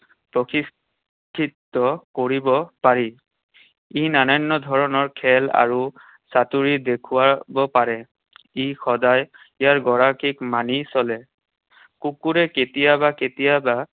প্ৰশিক্ষিত কৰিব পাৰি। ই নানান ধৰণৰ খেল আৰু চাতুৰি দেখুৱাব পাৰে। ই সদায় ইয়াৰ গৰাকীক মানি চলে। কুকুৰে কেতিয়াবা কেতিয়াবা